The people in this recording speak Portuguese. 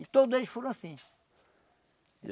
E todos eles foram assim.